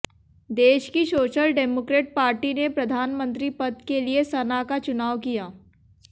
देश की social democrat party ने प्रधानमंत्री पद के लिए सना का चुनाव किया